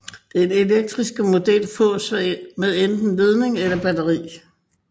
Den elektriske model fås med enten ledning eller batteri